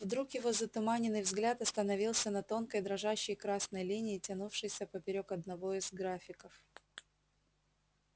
вдруг его затуманенный взгляд остановился на тонкой дрожащей красной линии тянувшейся поперёк одного из графиков